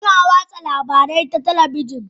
Ana watsa labarai ta talabijin